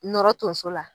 Nɔrɔ tonso la